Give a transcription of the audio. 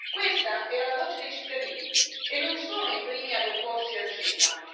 Questa era la voce dei cittadini e non sono i primi ad opporsi al CETA.